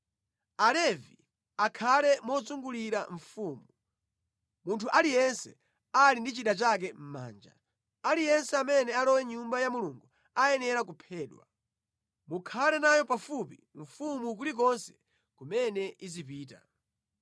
Alevi akhale mozungulira mfumu, munthu aliyense ali ndi chida chake mʼmanja. Aliyense amene alowe mʼNyumba ya Mulungu ayenera kuphedwa. Mukhale nayo pafupi mfumu kulikonse kumene izipita.”